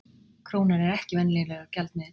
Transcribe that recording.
Krónan er ekki venjulegur gjaldmiðill